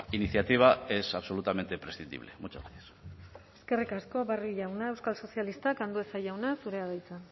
iniciativa es absolutamente prescindible muchas gracias eskerrik asko barrio jauna euskal sozialistak andueza jauna zurea da hitza